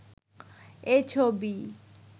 এ ছবি